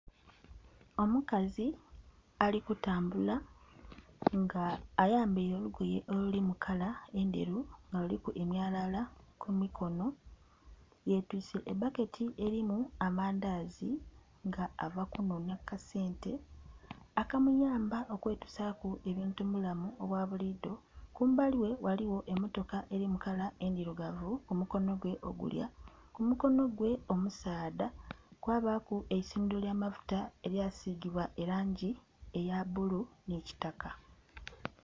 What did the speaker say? Omukazi ali kutambula nga ayambaile olugoye olulimu kala endheru nga luliku emyalala ku mikono. Yetwiise ebbaketi elimu amandazi nga ava kunhonhya ku kasente akamuyamba okwetusaaku ebintu mu bulamu obwa buliido. Kumbali ghe ghaligho emmotoka eli mu kala endhirugavu ku mukono gwe ogulya. Ku mukono gwe omusaadha kwabaaku eisundhiro ly'amafuta elya sigibwa elangi eya bbulu nhi kitaka.